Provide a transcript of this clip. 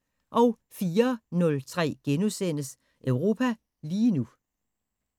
04:03: Europa lige nu *